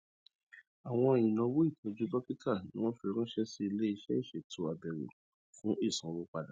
àwọn ináwó ìtọju dókítà ni wọn fi ránṣẹ sí iléiṣẹ ìṣètò àbẹwò fún ìsanwó padà